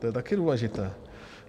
To je také důležité.